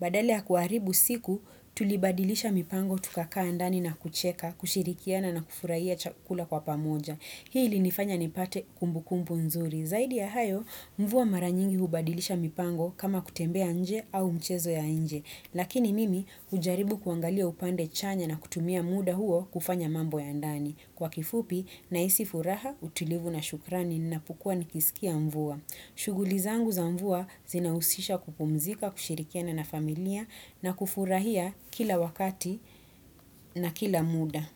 badala ya kuharibu siku tulibadilisha mipango tukakaa ndani na kucheka kushirikiana na kufurahia chakula kwa pamoja. Hii ili nifanya nipate kumbu kumbu nzuri. Zaidi ya hayo mvua maranyingi hubadilisha mipango kama kutembea nje au mchezo ya nje. Lakini mimi ujaribu kuangalia upande chanya na kutumia muda huo kufanya mambo ya ndani. Kwa kifupi naisi furaha utilivu na shukrani napukuwa nikisikia mvua. Shuguli zangu za mvua zinausisha kupumzika, kushirikiana na familia na kufurahia kila wakati na kila muda.